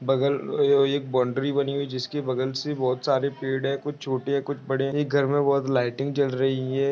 बगल एक बौन्ड्री बनी हुई है जिसके बगल से बहुत सारे पेड़ है कुछ छोटे है कुछ बड़े है एक घर मे बहुत लाइटिंग जल रही है।